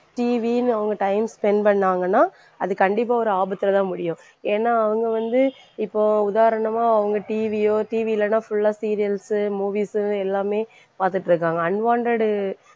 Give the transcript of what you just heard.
TV ன்னு அவங்க time spend பண்ணாங்கன்னா அது கண்டிப்பா ஒரு ஆபத்துலதான் முடியும். ஏன்னா அவங்க வந்து இப்போ உதாரணமா அவங்க TV யோ TV இல்லைன்னா full ஆ serials உ movies உ எல்லாமே பாத்துட்டிருக்காங்க unwanted